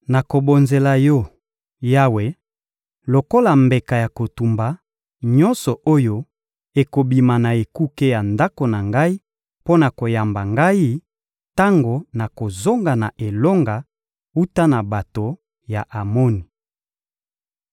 nakobonzela Yo, Yawe, lokola mbeka ya kotumba, nyonso oyo ekobima na ekuke ya ndako na ngai mpo na koyamba ngai, tango nakozonga na elonga wuta na bato ya Amoni.»